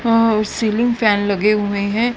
हां और ceiling fan लगे हुए हैं।